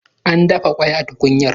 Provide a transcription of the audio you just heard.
An dafa kwai a tukunyar